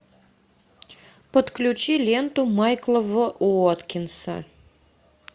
подключи ленту майкла в уоткинса